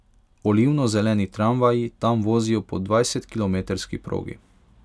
Olivno zeleni tramvaji tam vozijo po dvajsetkilometrski progi.